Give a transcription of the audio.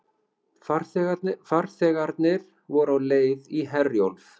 Farþegarnir voru á leið í Herjólf